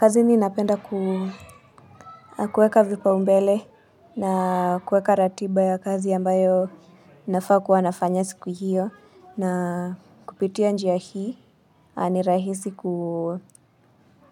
Kazini napenda kueka vipaumbele na kueka ratiba ya kazi ambayo nafaa kuwanafanya siku hiyo na kupitia njia hii ni rahisi